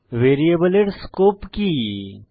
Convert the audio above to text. ভ্যারিয়েবলের স্কোপ কি160